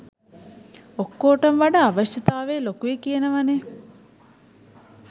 ඔක්කෝටම වඩා අවශ්‍යතාවය ලොකුයි කියනවනෙ.